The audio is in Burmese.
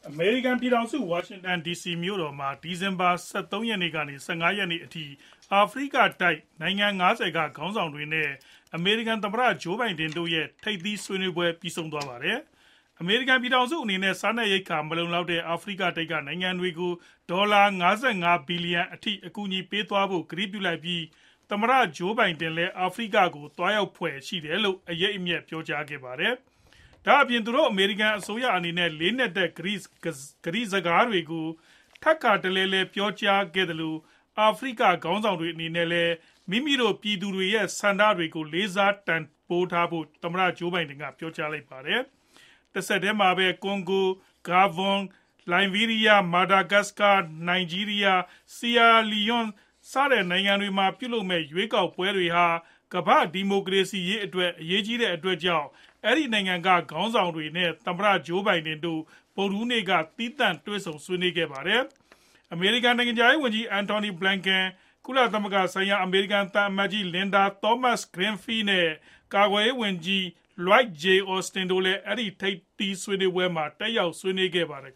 အမေရိကန် ပြည်ထောင်စု ၊ ဝါရှင်တန်ဒီစီမြို့တော် မှာ ဒီဇင်ဘာ ၁၃ ကနေ ၁၅ ရက်နေ့အထိ အာဖရိကတိုက်ဒေသ နိုင်ငံ ၅ဝ က ခေါင်းဆောင်တွေနဲ့ အမေရိကန် ပြည်ထောင်စု တို့ရဲ့ ထိပ်သီးဆွေးနွေးပွဲ ပြီးဆုံးသွားပါတယ်။ အမေရိကန် ပြည်ထောင်စု အနေနဲ့ စားနပ်ရိက္ခာ မလုံလောက်တဲ့ အာဖရိကတိုက် က နိုင်ငံတွေကို ဒေါ်လာ ၅၅ ဘီလီယံ အထိ အကူအညီပေးသွားဖို့ ကတိပြုလိုက်ပြီး သမ္မတ Joe Biden လဲ အာဖရိကကို သွားရောက်ဖွယ်ရှိတယ်လို့ အရိပ်အမြွက် ပြောကြားခဲ့ပါတယ်။ ဒါအပြင် သူတို့ အမေရိကန် အစိုးရအနေနဲ့ လေးနက်တဲ့ ကတိစကားတွေကို ထပ်ခါတလဲ ပြောကြားခဲ့သလို အာဖရိက ခေါင်းဆောင်တွေအနေနဲ့လည်း မိမိတို့ပြည်သူတွေရဲ့ ဆန္ဒတွေကို လေးစားတန်ဖိုးထားဖို့ ပြောကြာလိုက်ပါတယ်။ တဆက်တည်းမှာပဲ Congo, Gabon, Liberia, Madagascar, Nigeria, Sierra leone နိုင်ငံတွေမှာ ပြုလုပ်မဲ့ ရွေးကောက်ပွဲတွေဟာ ကမ္ဘာ့ ဒီမိုကရေစီအရေးအတွက် အရေးကြီးတဲ့အတွက်ကြောင့် အဲဒီနိုင်ငံတွေက ခေါင်းဆောင်တွေနဲ့ သမ္မတ Joe Biden တို့ ဗုဒ်ဓဟူးနေ့က သီးသန့် တွေ့ဆုံဆွေးနွေးခဲ့ပါတယ်။ အမေရိကန် နိုင်ငံခြားရေးဝန်ကြီး Antony Blinken၊ ကုလသမဂ္ဂ ဆိုင်ရာ အမေရိကန် သံအမတ်ကြီး Linda Thomas-Greenfield နဲ့ ကာကွယ်ရေးဝန်ကြီးLioyd J.Austin တို့လည်း အဲဒီထိပ်သီးဆွေးနွေးပွဲကို တက်ရောက် ဆွေးနွေးခဲ့ကြပါတယ်